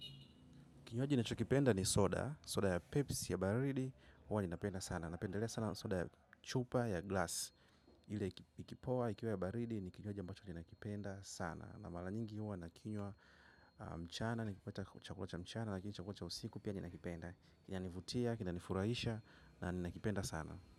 Kinywaji na chokipenda ni soda, soda ya pepsi ya baridi, huwa ni napenda sana. Napendelea sana soda ya chupa ya glass. Ile ikipoa, ikiwa ya baridi, ni kinywaji ambacho ni nakipenda sana. Na mala nyingi huwa na kinywa mchana, ni chakulacha mchana, lakini chakulacha usiku, pia ni nakipenda. Kina nivutia, kina nifurahisha, na ni nakipenda sana.